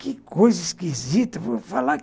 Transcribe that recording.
Que coisa esquisita. Falar